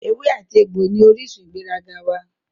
Ewé àti egbò ní orísun ìgbéraga wá